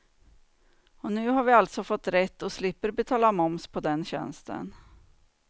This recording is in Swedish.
Och nu har vi alltså fått rätt och slipper betala moms på den tjänsten.